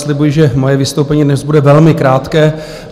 Slibuji, že moje vystoupení dnes bude velmi krátké.